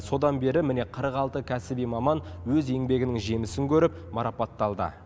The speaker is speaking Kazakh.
содан бері міне қырық алты кәсіби маман өз еңбегінің жемісін көріп марапатталды